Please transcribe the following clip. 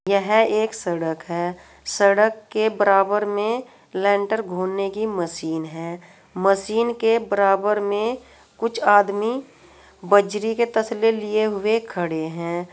यह एक सड़क है। सड़क के बराबर में लेंटर घूनने की मशीन है। मशीन के बराबर में कुछ आदमी बजरी के तसले लिए हुए खड़े हैं।